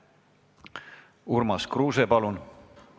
Urmas Kruuse, palun!